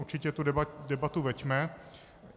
Určitě tu debatu veďme.